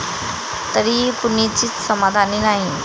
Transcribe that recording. तरीही कुणीच समाधानी नाही!